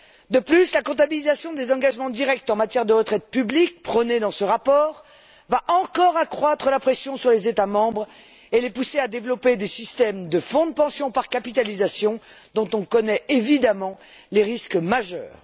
De plus, la comptabilisation des engagements directs en matière de retraite publique, prônée dans ce rapport, va encore accroître la pression sur les États membres et les pousser à développer des systèmes de fonds de pension par capitalisation dont on connaît évidemment les risques majeurs.